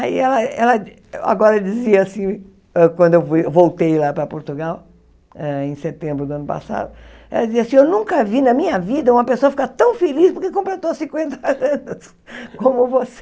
Aí ela ela, agora dizia assim, hã quando eu fui eu voltei lá para Portugal, em setembro do ano passado, ela dizia assim, eu nunca vi na minha vida uma pessoa ficar tão feliz porque completou cinquenta anos como você.